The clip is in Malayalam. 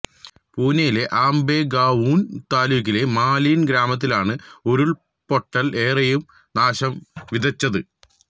പുനേയിലെ അംബെഗാവൂണ് താലൂക്കിലെ മാലിന് ഗ്രാമത്തിലാണ് ഉരുള്പൊട്ടല് ഏറെയും നാശം വിതച്ചത്